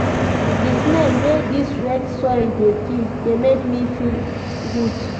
Di smell wey dis wet soil dey give dey make me feel good.